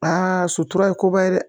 sutura ye koba ye dɛ